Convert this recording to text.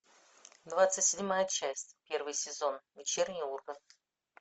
двадцать седьмая часть первый сезон вечерний ургант